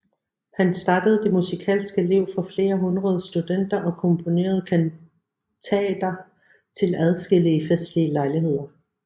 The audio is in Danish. Han startede det musikalske liv for flere hundrede studenter og komponerede kantater til adskillige festlige lejligheder